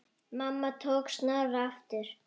Mamma tók Snorra aftur.